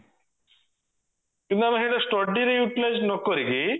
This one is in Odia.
କିନ୍ତୁ ଆମେ ସେଇଟା study ରେ utilise ନକରିକି